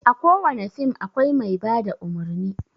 A ko wane fim akwai mai bada umurni.